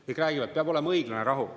Nad räägivad, et peab olema õiglane rahu.